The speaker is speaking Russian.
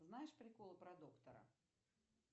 знаешь прикол про доктора